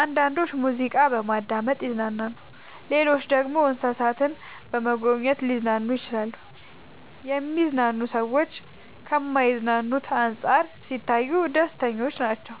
አንዳንዶች ሙዚቃ በማዳመጥ ይዝናናሉ ሌሎች ደግሞ እንሰሳትን በመጎብኘት ሊዝናኑ ይችላሉ። የሚዝናኑ ሰዎች ከማይዝናኑት አንፃር ሲታዩ ደስተኞች ናቸው።